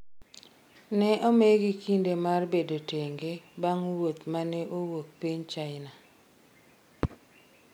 ne omigi kinde mar bedo tenge bang' wuoth mane owuok piny China